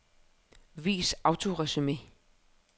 Vis autoresumé.